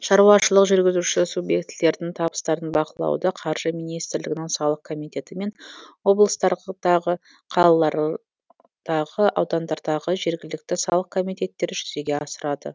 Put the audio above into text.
шаруашылық жүргізуші субъектілердің табыстарын бақылауды қаржы министрлігінің салық комитеті мен облыстардағы қалалар дағы аудандардағы жергілікті салық комитеттері жүзеге асырады